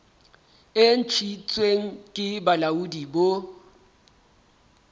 e ntshitsweng ke bolaodi bo